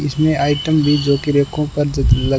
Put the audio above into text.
इसमें आइटम भी रेको पर--